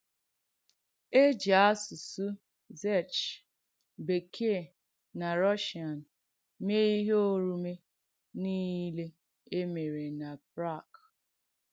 E jì àsùsù Czech, Bèkèe, nà Rùssiàn mee ìhé òrùmè nìle è mèèrè na Prague.